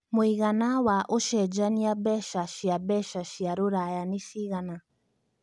mũigana wa ũcenjanĩa mbeca cia mbeca cia rũraya nĩ cigana